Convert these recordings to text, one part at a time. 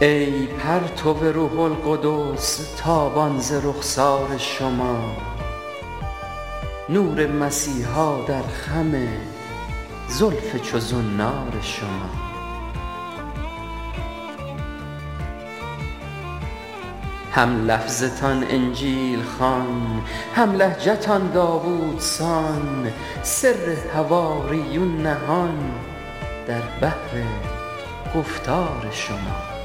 ای پرتو روح القدس تابان ز رخسار شما نور مسیحا در خم زلف چو زنار شما هم لفظتان انجیل خوان هم لهجتان داوودسان سر حواریون نهان در بحر گفتار شما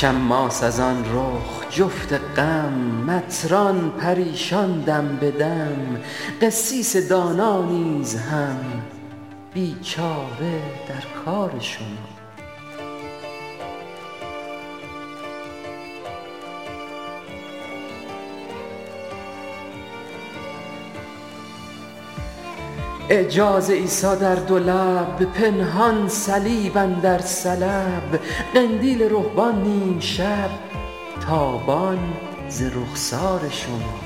شماس از آن رخ جفت غم مطران پریشان دم به دم قسیس دانا نیز هم بیچاره در کار شما اعجاز عیسی در دو لب پنهان صلیب اندر سلب قندیل رهبان نیم شب تابان ز رخسار شما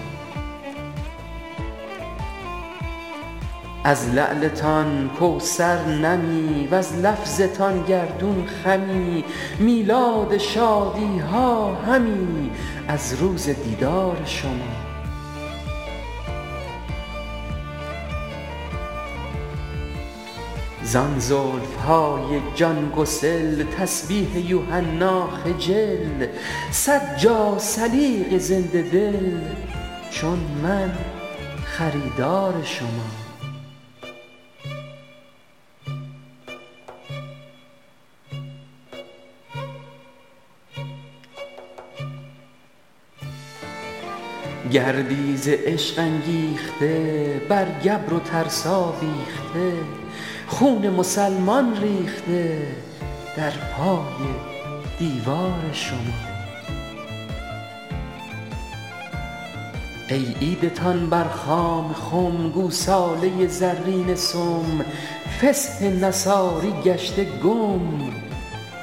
از لعلتان کوثر نمی وز لفظتان گردون خمی میلاد شادی ها همی از روز دیدار شما زان زلف های جان گسل تسبیح یوحنا خجل صد جاثلیق زنده دل چون من خریدار شما گردی ز عشق انگیخته بر گبر و ترسا بیخته خون مسلمان ریخته در پای دیوار شما ای عیدتان بر خام خم گوساله زرینه سم فسح نصاری گشته گم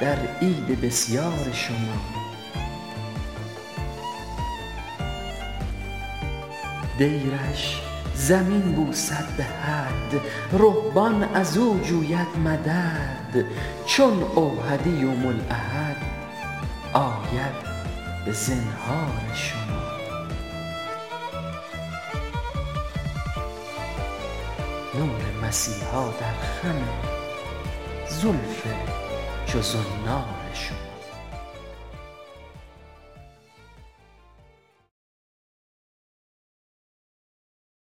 در عید بسیار شما دیرش زمین بوسد به حد رهبان از او جوید مدد چون اوحدی یوم الاحد آید به زنهار شما